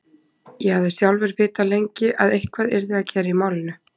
Ég hafði sjálfur vitað lengi að eitthvað yrði að gera í málinu.